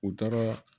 U taara